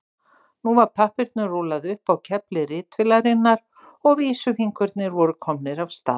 Nú var pappírnum rúllað upp á kefli ritvélarinnar og vísifingurnir voru komnir af stað.